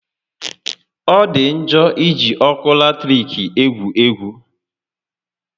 Ọ dị njọ iji ọkụ latiriki égwu egwú